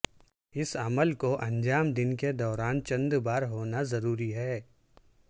اس عمل کو انجام دن کے دوران چند بار ہونا ضروری ہے